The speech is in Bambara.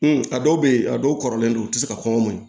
a dɔw bɛ yen a dɔw kɔrɔlen don u tɛ se ka kɔngɔ maɲ